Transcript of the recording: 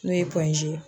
N'o ye ye